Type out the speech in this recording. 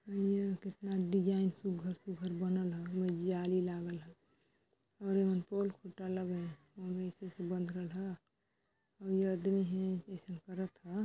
इहा कितना डिजाइन सुग्घर- सुग्घर बनल हा एमा जाली लागल हा और एमन पोल खुटा लगल हा ओमा अइसे अइसे बंध रलहा अउ ये अदमी हे अइसन करत हा।